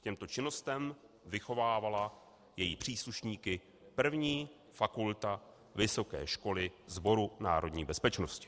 K těmto činnostem vychovávala její příslušníky 1. fakulta Vysoké školy Sboru národní bezpečnosti.